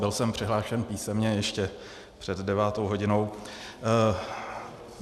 Byl jsem přihlášen písemně ještě před devátou hodinou.